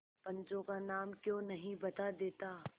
पंचों का नाम क्यों नहीं बता देता